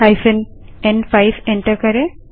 hyphen एन5 enter करें